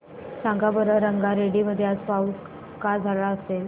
सांगा बरं रंगारेड्डी मध्ये आज पाऊस का झाला असेल